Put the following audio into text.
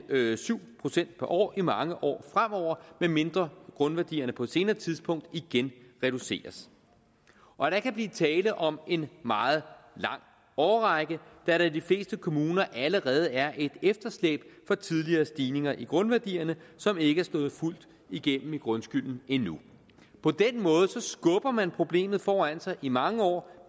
syv procent per år i mange år fremover medmindre grundværdierne på et senere tidspunkt igen reduceres og der kan blive tale om en meget lang årrække da der i de fleste kommuner allerede er et efterslæb for tidligere stigninger i grundværdierne som ikke er slået fuldt igennem i grundskylden endnu på den måde skubber man problemet foran sig i mange år